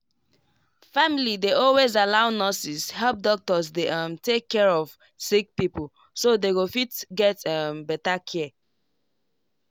family dey always allow nurses help doctors dey um take care of sick pipo so they go fit get um better care.